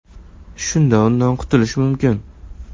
Shunda undan qutilish mumkin.